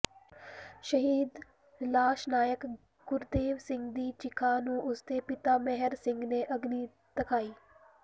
ਸ਼ਹੀਦ ਲਾਂਸ ਨਾਇਕ ਗੁਰਦੇਵ ਸਿੰਘ ਦੀ ਚਿਖਾ ਨੂੰ ਉਸਦੇ ਪਿਤਾ ਮੇਹਰ ਸਿੰਘ ਨੇ ਅਗਨੀ ਦਿਖਾਈ